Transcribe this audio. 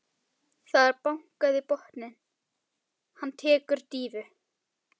Það er bankað í botninn, hann tekur dýfu.